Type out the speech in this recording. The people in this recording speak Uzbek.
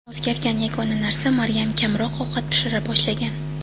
O‘zgargan yagona narsa Maryam kamroq ovqat pishira boshlagan.